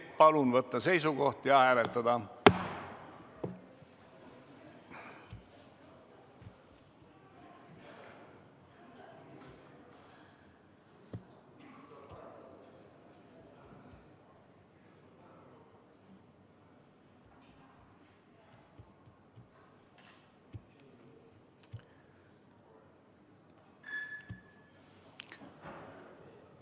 Palun võtta seisukoht ja hääletada!